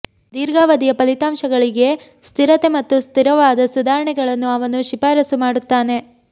ದೀರ್ಘಾವಧಿಯ ಫಲಿತಾಂಶಗಳಿಗೆ ಸ್ಥಿರತೆ ಮತ್ತು ಸ್ಥಿರವಾದ ಸುಧಾರಣೆಗಳನ್ನು ಅವನು ಶಿಫಾರಸು ಮಾಡುತ್ತಾನೆ